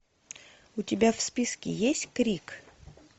у тебя в списке есть крик